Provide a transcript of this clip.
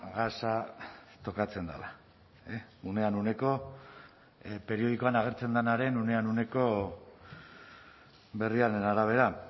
gasa tokatzen dela unean uneko periodikoan agertzen denaren unean uneko berriaren arabera